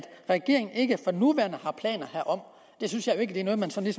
regeringen ikke for nuværende har planer herom det synes jeg jo ikke er noget man sådan